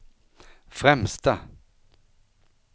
främsta